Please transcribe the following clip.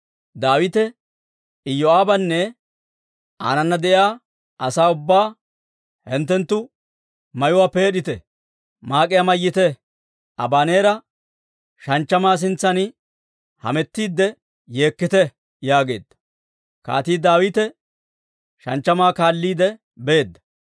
Daawite Iyoo'aabanne aanana de'iyaa asaa ubbaa, «Hinttenttu mayuwaa peed'ite; maak'iyaa mayyite; Abaneera shanchchamaa sintsan hamettiidde yeekkite» yaageedda. Kaatii Daawite shanchchamaa kaalliide beedda.